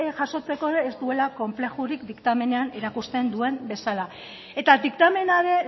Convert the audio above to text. jasotzeko ez duela konplexurik diktamenean erakusten duen bezala eta diktamena ere